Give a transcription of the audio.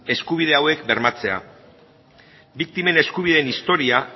eskubide hauek bermatzea biktimen eskubideen historia